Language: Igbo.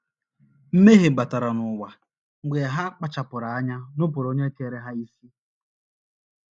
Mmehie ‘ batara n’ụwa ’ mgbe ha kpachaara anya nupụrụ Onye kere ha isi.